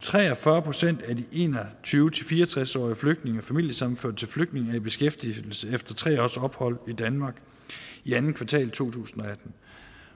tre og fyrre procent af de en og tyve til fire og tres årige flygtninge og familiesammenførte til flygtninge var i beskæftigelse efter tre års ophold i danmark i andet kvartal to tusind og atten